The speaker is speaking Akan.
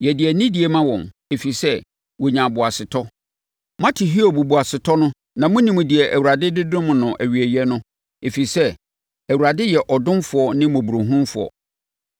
Yɛde anidie ma wɔn, ɛfiri sɛ, wɔnyaa boasetɔ. Moate Hiob boasetɔ no na monim deɛ Awurade de dom no awieeɛ no ɛfiri sɛ, Awurade yɛ ɔdomfoɔ ne mmɔborɔhunufoɔ.